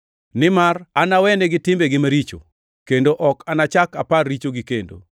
Nimar anawenegi timbegi maricho, kendo ok anachak apar richogi kendo.” + 8:12 \+xt Jer 31:31-34\+xt*